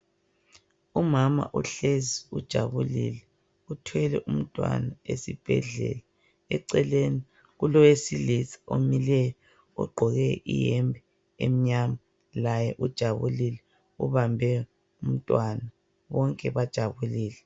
Umama uhlezi ujabulile uthwele umntwana esibhedlela. Eceleni kulowesilisa omileyo ogqoke iyembe emnyama ,laye ujabulile ubambe umntwana. Bonke bajabulile.